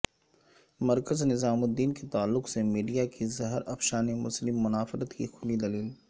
مرکز نظام الدین کے تعلق سے میڈیا کی زہرافشانی مسلم منافرت کی کھلی دلیل